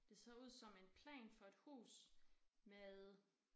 Det ser ud som en plan for et hus med